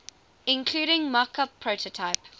including mockup prototype